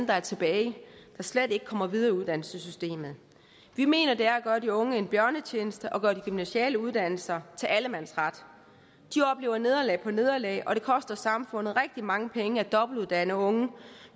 der er tilbage der slet ikke kommer videre i uddannelsessystemet vi mener det er at gøre de unge en bjørnetjeneste at gøre de gymnasiale uddannelser til allemandsret de oplever nederlag på nederlag og det koster samfundet rigtig mange penge at dobbeltuddanne unge